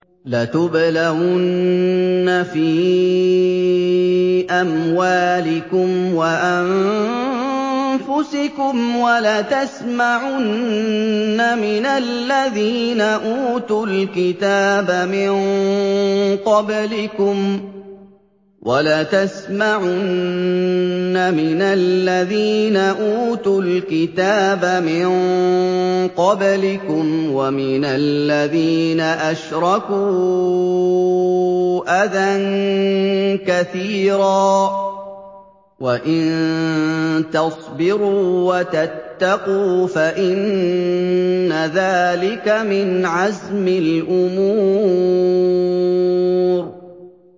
۞ لَتُبْلَوُنَّ فِي أَمْوَالِكُمْ وَأَنفُسِكُمْ وَلَتَسْمَعُنَّ مِنَ الَّذِينَ أُوتُوا الْكِتَابَ مِن قَبْلِكُمْ وَمِنَ الَّذِينَ أَشْرَكُوا أَذًى كَثِيرًا ۚ وَإِن تَصْبِرُوا وَتَتَّقُوا فَإِنَّ ذَٰلِكَ مِنْ عَزْمِ الْأُمُورِ